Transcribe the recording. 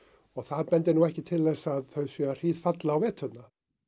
það bendir nú ekki til þess að þau séu að hríðfalla á veturna